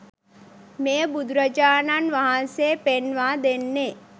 මෙය බුදුරජාණන් වහන්සේ පෙන්වා දෙන්නේ